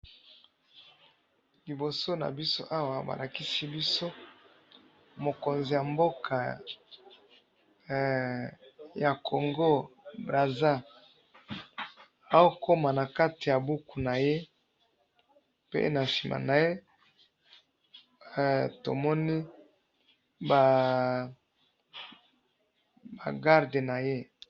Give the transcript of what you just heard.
Liboso na biso Awa, balakisi biso, mokonzi ya mboka eh ya Congo Brazza ao koma na kati ya buku na ye, pe na sima na ye tomoni baaaa ba garde na ye